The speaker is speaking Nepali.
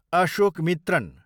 अशोकमित्रण